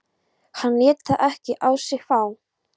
Hann lét það ekki á sig fá.